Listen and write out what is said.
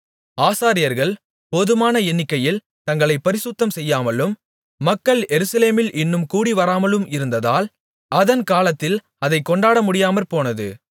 ஆசாரியர்கள் போதுமான எண்ணிக்கையில் தங்களைப் பரிசுத்தம்செய்யாமலும் மக்கள் எருசலேமில் இன்னும் கூடிவராமலும் இருந்ததால் அதன் காலத்தில் அதைக் கொண்டாட முடியாமற்போனது